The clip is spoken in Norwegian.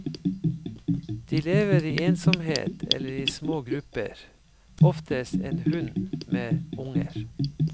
De lever i ensomhet eller i små grupper, oftest en hunn med unger.